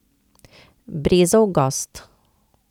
Brezov gozd.